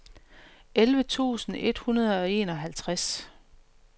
elleve tusind et hundrede og enoghalvtreds